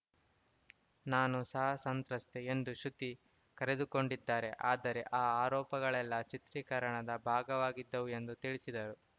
ನಾನು ಸಹ ಸಂತ್ರಸ್ತೆ ಎಂದು ಶ್ರುತಿ ಕರೆದುಕೊಂಡಿದ್ದಾರೆ ಆದರೆ ಆ ಆರೋಪಗಳೆಲ್ಲಾ ಚಿತ್ರೀಕರಣದ ಭಾಗವಾಗಿದ್ದವು ಎಂದು ತಿಳಿಸಿದರು